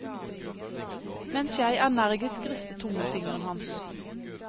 Mens jeg energisk ristet tommelfingeren hans.